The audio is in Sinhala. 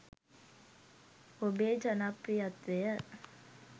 ඔබේ ජනප්‍රියත්වය